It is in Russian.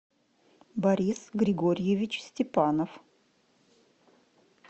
борис григорьевич степанов